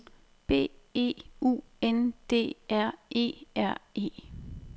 B E U N D R E R E